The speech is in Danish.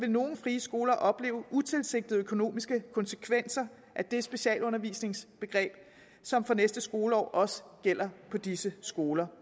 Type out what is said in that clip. nogle frie skoler opleve utilsigtede økonomiske konsekvenser af det specialundervisningsbegreb som fra næste skoleår også gælder på disse skoler